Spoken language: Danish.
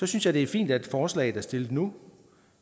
synes at det er fint at forslaget er stillet nu